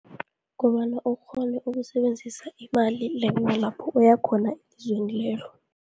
Kobana ukghone ukusebenzisa imali lapho uya khona ezweni lelo.